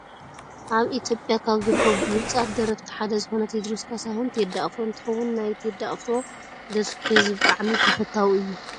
ኣብ ኢትዮጵያ ካብ ዝርከቡ ብሉፃት ደረፍቲ ሓደ ዝኮነ ቴድሮስ ካሳሁን /ቴዲ ኣፍሮ/ እንትከውን፣ ናይ ቴዲ ኣፍሮ ደርፊ ብህዝቢ ብጣዕሚ ተፈታዊ እዩ።